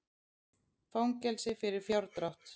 Fangelsi fyrir fjárdrátt